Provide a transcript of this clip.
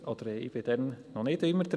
Ich war da noch nicht immer dabei.